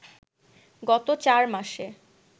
গত চার মাসে